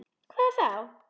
Hvað þá!